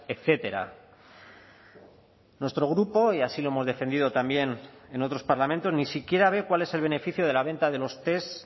etcétera nuestro grupo y así lo hemos defendido también en otros parlamentos ni siquiera ve cuál es el beneficio de la venta de los test